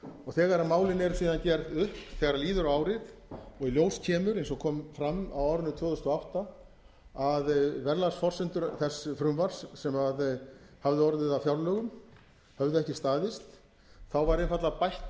og þegar málin eru síðan gerð upp þegar líður á árið og í ljós kemur eins og kom fram á árinu tvö þúsund og átta að verðlagsforsendur þess frumvarps sem hafði orðið að fjárlögum höfðu ekki staðist var einfaldlega bætt